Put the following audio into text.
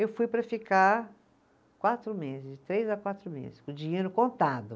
Eu fui para ficar quatro meses, de três a quatro meses, com o dinheiro contado.